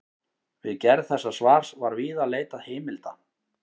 Við gerð þessa svars var víða leitað heimilda.